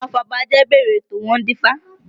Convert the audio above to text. Àwọn afọbajẹ bẹ̀rẹ̀ ètò, wọ́n dífá